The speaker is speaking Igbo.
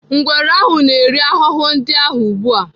Ngwere ahụ na-eri ahụhụ ndị ahụ ugbu a.